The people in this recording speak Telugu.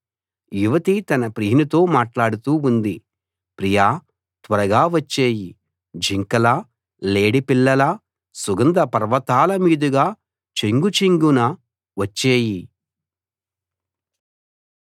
యువతి తన ప్రియునితో మాట్లాడుతూ ఉంది ప్రియా త్వరగా వచ్చెయ్యి జింకలా లేడిపిల్లలా సుగంధ పర్వతాల మీదుగా చెంగు చెంగున వచ్చెయ్యి